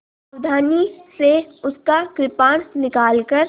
सावधानी से उसका कृपाण निकालकर